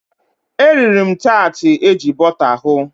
E riri m taatị eji bọta hụ.